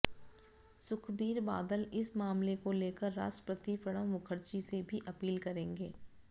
सुखबीर बादल इस मामले को लेकर राष्ट्रपति प्रणव मुखर्जी से भी अपील करेंगे